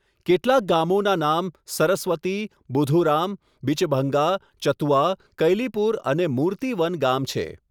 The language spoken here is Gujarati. કેટલાક ગામોનાં નામ સરસ્વતી, બુધુરામ, બિચભંગા, ચતુઆ, કૈલીપુર અને મૂર્તિ વન ગામ છે.